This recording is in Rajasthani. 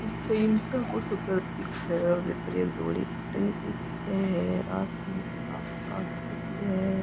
पीछे ईतो को सो घर दिखे है ऊपर एक धोड़ी सी टंकी दिखे है आसमान साफ़ साफ़ दिख रेहो है।